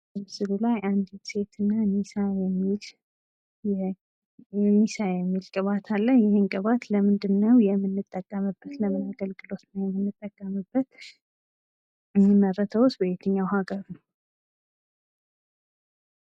ምስሉ ላይ አንዲት ሴትና ኒሳን የሚል ቅባት አለ ይህን ቅባት ለምንድን ነው የምንጠቀምበት? ለምን አገልግሎት ነው የምንጠቀምበት? የሚመረተውስ በየትኛው ሃገር ነው?